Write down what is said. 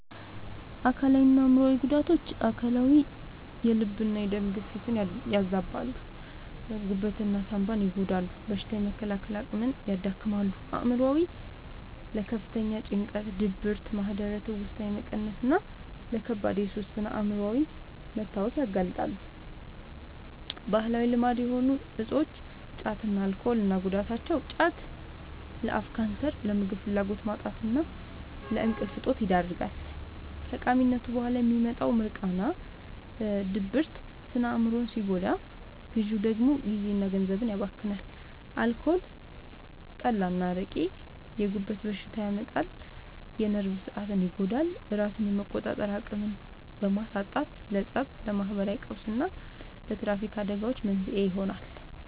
አካላዊና አእምሯዊ ጉዳቶች፦ አካላዊ፦ የልብና የደም ግፊትን ያዛባሉ፣ ጉበትና ሳንባን ይጎዳሉ፣ በሽታ የመከላከል አቅምን ያዳክማሉ። አእምሯዊ፦ ለከፍተኛ ጭንቀት፣ ድብርት፣ ማህደረ-ትውስታ መቀነስና ለከባድ የሱስ ስነ-አእምሯዊ መታወክ ያጋልጣሉ። ባህላዊ ልማድ የሆኑ እፆች (ጫትና አልኮል) እና ጉዳታቸው፦ ጫት፦ ለአፍ ካንሰር፣ ለምግብ ፍላጎት ማጣትና ለእንቅልፍ እጦት ይዳርጋል። ከቃሚነቱ በኋላ የሚመጣው «ሚርቃና» (ድብርት) ስነ-አእምሮን ሲጎዳ፣ ግዢው ደግሞ ጊዜና ገንዘብን ያባክናል። አልኮል (ጠላ፣ አረቄ)፦ የጉበት በሽታ ያመጣል፣ የነርቭ ሥርዓትን ይጎዳል፤ ራስን የመቆጣጠር አቅምን በማሳጣትም ለፀብ፣ ለማህበራዊ ቀውስና ለትራፊክ አደጋዎች መንስኤ ይሆናል።